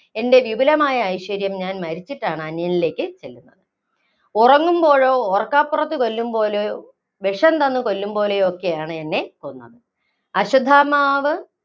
എന്‍റെ വിപുലമായ ഐശ്വര്യം ഞാന്‍ മരിച്ചിട്ടാണ് അന്യനിലേക്ക് ചെല്ലുന്നത്. ഉറങ്ങുമ്പോഴോ, ഓര്‍ക്കപ്പുറത്ത് കൊല്ലുംപോലെയോ, വിഷം തന്ന് കൊല്ലുംപോലെയോ ഒക്കെയാണ് എന്നെ കൊന്നത്. അശ്വത്ഥമാവ്